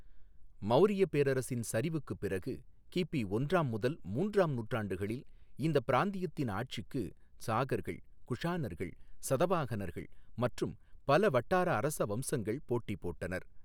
மௌரியப் பேரரசின் சரிவுக்குப் பிறகு, கிபி ஒன்றாம் முதல் மூன்றாம் நூற்றாண்டுகளில் இந்தப் பிராந்தியத்தின் ஆட்சிக்கு சாகர்கள், குஷாணர்கள், சதவாஹனர்கள் மற்றும் பல வட்டார அரச வம்சங்கள் போட்டிபோட்டனர்.